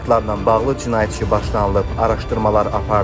Faktlarla bağlı cinayət işi başlanılıb, araşdırmalar aparılır.